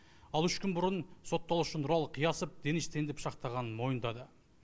ал үш күн бұрын сотталушы нұралы қиясов денис тенді пышақтағанын мойындады